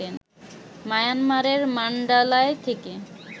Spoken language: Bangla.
মায়ানমারের মান্ডালায় থেকে